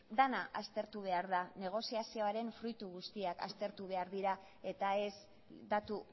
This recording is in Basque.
dena aztertu behar da negoziazioaren fruitu guztiak aztertu behar dira eta ez datu